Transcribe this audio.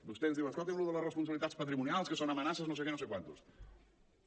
vostè ens diu escoltin lo de les responsabilitats patrimonials que són amenaces no sé què no sé quantos